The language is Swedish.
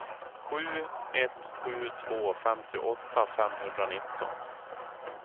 sju ett sju två femtioåtta femhundranitton